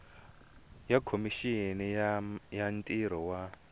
ya khomixini ya ntirho wa